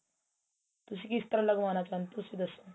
ਤੁਸੀਂ ਕਿਸ ਤਰਾਂ ਲੱਗਵਾਣਾ ਚਾਹੁੰਦੇ ਓ ਤੁਸੀਂ ਦੱਸੋ